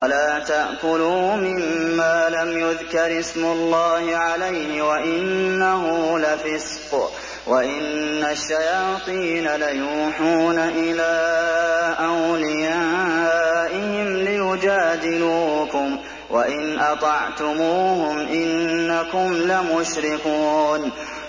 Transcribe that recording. وَلَا تَأْكُلُوا مِمَّا لَمْ يُذْكَرِ اسْمُ اللَّهِ عَلَيْهِ وَإِنَّهُ لَفِسْقٌ ۗ وَإِنَّ الشَّيَاطِينَ لَيُوحُونَ إِلَىٰ أَوْلِيَائِهِمْ لِيُجَادِلُوكُمْ ۖ وَإِنْ أَطَعْتُمُوهُمْ إِنَّكُمْ لَمُشْرِكُونَ